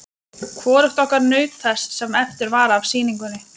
Hvorugt okkar naut þess sem eftir var af sýningunni.